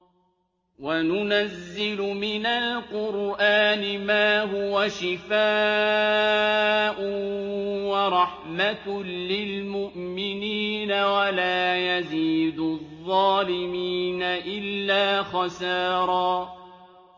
وَنُنَزِّلُ مِنَ الْقُرْآنِ مَا هُوَ شِفَاءٌ وَرَحْمَةٌ لِّلْمُؤْمِنِينَ ۙ وَلَا يَزِيدُ الظَّالِمِينَ إِلَّا خَسَارًا